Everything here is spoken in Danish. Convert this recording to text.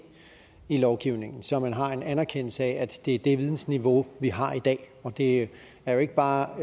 i lovgivningen så man har en anerkendelse af at det er det vidensniveau vi har i dag det er jo ikke bare